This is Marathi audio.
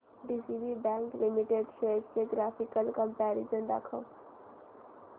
डीसीबी बँक लिमिटेड शेअर्स चे ग्राफिकल कंपॅरिझन दाखव